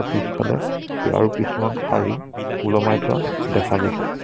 পিছফালে কে আৰু কিছুমান শাৰী ওলোমাই থোৱা দেখা গৈছে।